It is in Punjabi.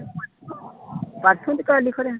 ਘਰੇ